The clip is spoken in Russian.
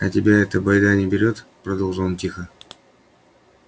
а тебя эта байда не берет продолжил он тихо